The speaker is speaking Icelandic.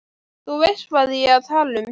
Þú veist hvað ég er að tala um.